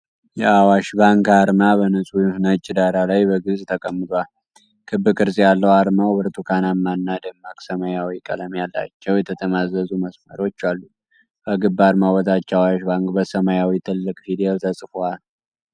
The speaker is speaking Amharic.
የአዋሽ ባንክ አርማ በንጹህ ነጭ ዳራ ላይ በግልጽ ተቀምጧል። ክብ ቅርጽ ያለው አርማው ብርቱካናማና ደማቅ ሰማያዊ ቀለም ያላቸው የተጠማዘዙ መስመሮች አሉት። ከክብ አርማው በታች "Awash Bank" በሰማያዊ ትልቅ ፊደል ተጽፏል።